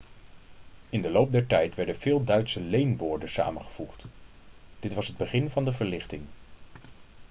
in de loop der tijd werden veel duitse leenwoorden samengevoegd dit was het begin van de verlichting